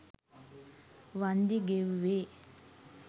වන්දි ගෙව්වේ